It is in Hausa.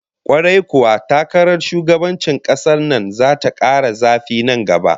Kwarai kuwa, takarar shugabancin kasar nan zata kara zafi nan gaba